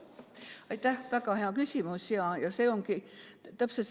Aitäh, väga hea küsimus!